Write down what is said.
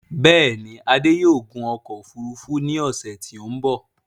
Bẹ́ẹ̀ni, Adé yóò gun ọkọ̀ òfurufú ní ọ̀ṣẹ̀ tí ó m̀bọ̀